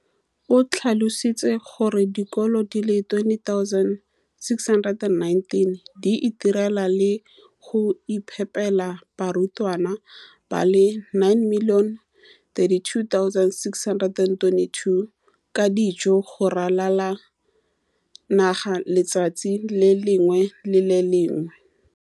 o tlhalositse gore dikolo di le 20 619 di itirela le go iphepela barutwana ba le 9 032 622 ka dijo go ralala naga letsatsi le lengwe le le lengwe.